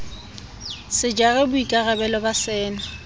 se jara boikarabello ba sena